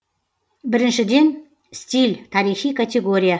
біріншіден стиль тарихи категория